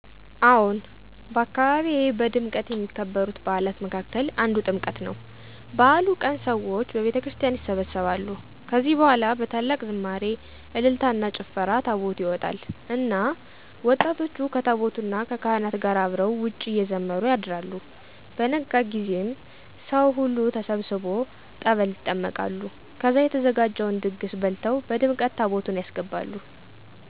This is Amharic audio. አዎን፣ በአካባቢዬ በድምቀት ከሚከበሩት በዓላት መካከል አንዱ ጥምቀት ነው። በዓሉ ቀን ሰዎች በቤተክርስቲያን ይሰበሰባሉ። ከዚህ በኋላ በታላቅ ዝማሬ፣ እልልታና ጭፈራ ታቦቱ ይወጣል እና ወጣቶቹ ከታቦቱ እና ከካህናት ጋር አብረው ውጭ እየዘመሩ ያድራሉ። በነጋ ጊዜም ሠዉ ሁሉ ተሠብስቦ ጠበል ይጠመቃሉ ከዚያ የተዘጋጀውን ድግስ በልተው በድመቀት ታቦቱን ያስገባሉ።